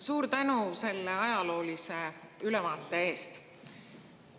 Suur tänu selle ajaloolise ülevaate eest!